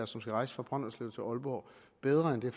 som skal rejse fra brønderslev til aalborg bedre end det